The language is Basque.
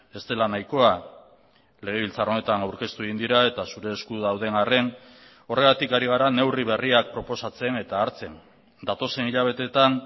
ez dela nahikoa legebiltzar honetan aurkeztu egin dira eta zure esku dauden arren horregatik ari gara neurri berriak proposatzen eta hartzen datozen hilabeteetan